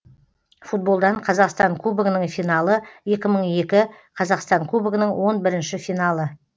футболдан қазақстан кубогының финалы екі мың екі қазақстан кубогының он бірінші финалы